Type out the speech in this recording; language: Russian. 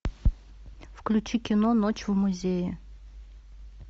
включи кино ночь в музее